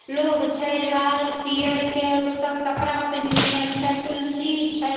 लोग छै लाल - पियर के सब कपड़ा पिन्हने छै। तुलसी छै।